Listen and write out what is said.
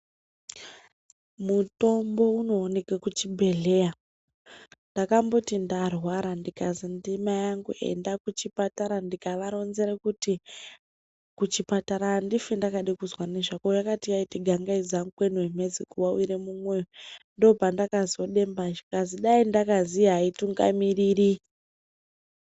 Mutombo unooneke kuchibhedhleya. Ndakamboti ndarwara ndikazi namai angu ende kuchipatara. Ndikavaronzere kuti kuchipatara handifi ndakade kuzwa nezvako. Yakati yaita gangaidza mukweni wemhezi kuwawire mumwoyo ndopanda kazodemba zvikanzi dai ndakaziya haitungamiriri.